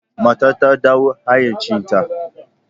Matar ta dawo hayyacinta.